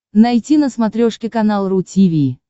найти на смотрешке канал ру ти ви